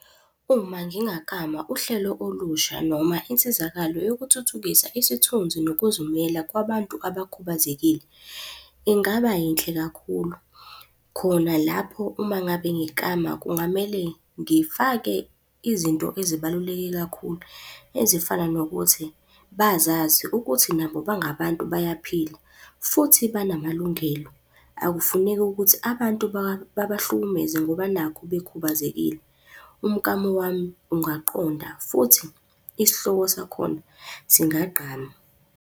Uma ngingaklama uhlelo olusha noma insizakalo yokuthuthukisa isithunzi nokuzimela kwabantu abakhubazekile, ingaba yinhle kakhulu. Khona lapho uma ngabe ngiklama kungamele ngifake izinto ezibaluleke kakhulu ezifana nokuthi bazazi ukuthi nabo bangabantu bayaphila futhi banamalungelo. Akufuneki ukuthi abantu babahlukumeze ngoba nakhu bekhubazekile. Umklamo wami ungaqonda futhi isihloko sakhona singagqama.